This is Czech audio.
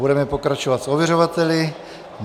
Budeme pokračovat s ověřovateli.